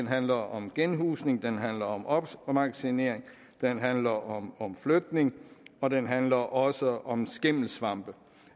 handler om genhusning det handler om opmagasinering det handler om om flytning og det handler også om skimmelsvamp